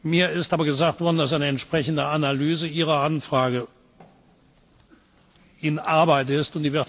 Mir ist aber gesagt worden, dass eine entsprechende Analyse Ihrer Anfrage in Arbeit ist.